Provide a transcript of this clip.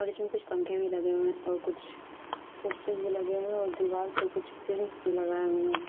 और इसमें कुछ पंखे भी लगे हुए है और कुछ पोस्टर भी लगे हुए है और दीवाल पे कुछ प्रिंट्स भी लगाए हुए है।